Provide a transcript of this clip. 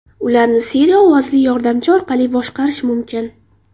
Ularni Siri ovozli yordamchi orqali boshqarish mumkin.